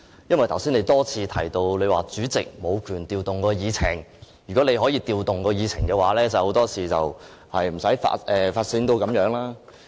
你剛才多次提及主席無權調動議程；假如你可以調動議程，很多事情都不會發展成這樣。